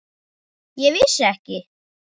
Ég vissi ekki.